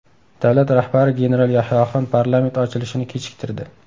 Davlat rahbari general Yahyoxon parlament ochilishini kechiktirdi.